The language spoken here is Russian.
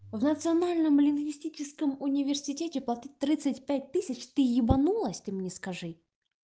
в национальном лингвистическом университете под тридцать пять тысяч ты ебанулась ты мне скажи